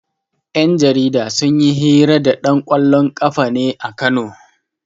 Yan jarida sun yi hira da ɗan ƙwallon ƙafan ne a Kano.